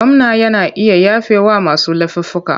Gwamna yana iya yafewa masu laifuffuka.